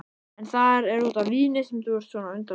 Er það út af víni sem þú ert svona undarlegur?